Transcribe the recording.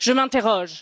Je m'interroge.